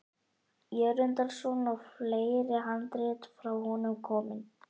Jörundarson og fleiri handrit frá honum komin.